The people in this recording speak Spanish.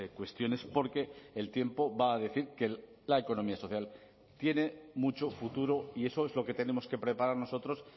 cuestiones porque el tiempo va a decir que la economía social tiene mucho futuro y eso es lo que tenemos que preparar nosotros